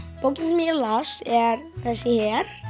bókin sem ég las er þessi hér